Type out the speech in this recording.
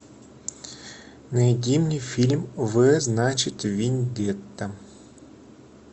найди мне фильм в значит вендетта